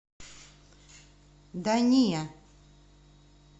да не